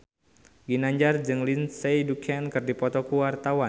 Ginanjar jeung Lindsay Ducan keur dipoto ku wartawan